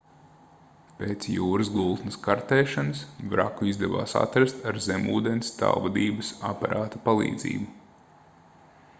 pēc jūras gultnes kartēšanas vraku izdevās atrast ar zemūdens tālvadības aparāta palīdzību